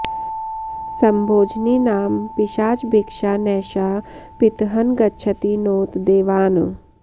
सम्भोजनी नाम पिशाचभिक्षा नैषा पितॄन् गच्छति नोत देवान्